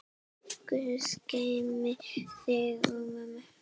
Guð geymi þig og mömmu.